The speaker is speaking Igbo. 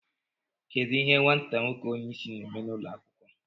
Kedu ihe nwata nwoke onye isi na-eme n'ụlọ akwụkwọ